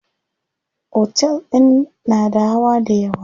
Otel din na da hawa dayawa.